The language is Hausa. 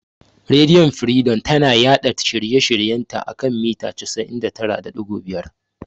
Rediyo firidom tana yaɗa shirye shiryen ta a kan mita 99.5.